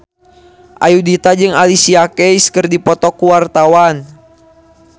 Ayudhita jeung Alicia Keys keur dipoto ku wartawan